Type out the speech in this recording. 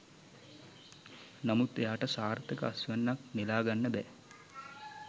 නමුත් එයාට සාර්ථක අස්වැන්නක් නෙලාගන්න බෑ.